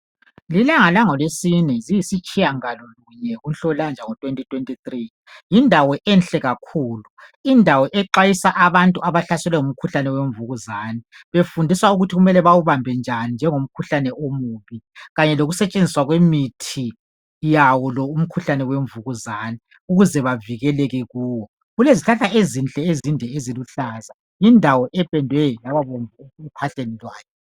Ngelanga langolweSine ziyisitshiyagalolunye kuNhlolanja ngomnyaka ka 2023. Yindawo enhle kakhulu. Indawo exwayisa abantu mayelana lemvukuzane. Befundiswa ukuthi kumele bawubambe njani njengomkhuhlane omubi kanye lokusetshenziswa kwemithi yawo lomkhuhlane wemvukuzane ukuze bavikeleke kuwo. Yindawo elezihlahla ezinhle ezinde ezinkulu eziluhlaza. Yindawo ependwe yababomvu ephahleni lwayo.